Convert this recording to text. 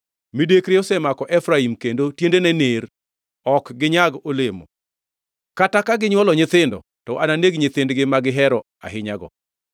Midekre osemako Efraim, kendo tiendene ner, ok ginyag olemo. Kata ka ginywolo nyithindo, to ananeg nyithindgi ma gihero ahinyago.”